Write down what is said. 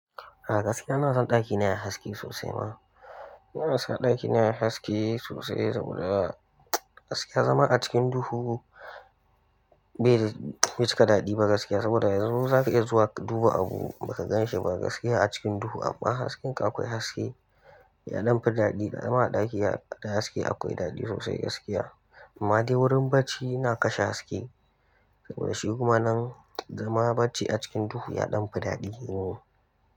A gaskiya ina son ɗakina yayi haske sosai ma. Ina son ɗakina yayi haske sosai saboda gaskiya zama a cikin duhu bai cika daɗi ba gaskiya saboda yanzu zaka iya zuwa ka duba abu baka gan shi ba gaskiya a cikin duhu amma hasken kai akwai haske ya ɗanfi daɗi da zama a ɗaki da haske akwai daɗi sosai gaskiya. Amma dai wurin barci ina kashe haske saboda shi kuma nan zama barci a cikin duhu ya ɗan fi daɗi.